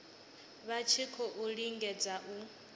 vha tshi khou lingedza u